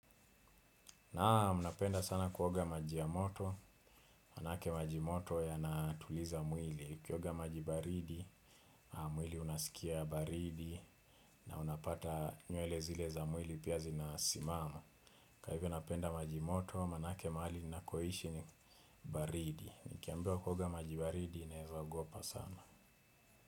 Naam, napenda sana kuoga maji yamoto, manake majimoto ya natuliza mwili, ukioga majibaridi, mwili unasikia baridi, na unapata nywele zile za mwili pia zinasimama. Kwa hivyo napenda majimoto, manake mahali ninakoishi ni baridi. Nikiambiwa kuoga majibaridi, naeza ogopa sana.